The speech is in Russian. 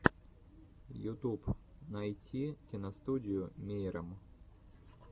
ютуб найти киностудию мейрам